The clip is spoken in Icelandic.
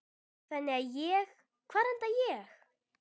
Þannig að ég, hvar enda ég?